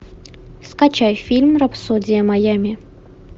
скачай фильм рапсодия майами